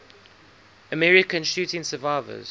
american shooting survivors